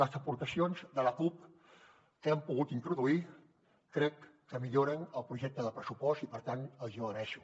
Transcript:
les aportacions de la cup que hem pogut introduir crec que milloren el projecte de pressupost i per tant els hi ho agraeixo